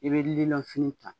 I bɛ lilɔnfini ta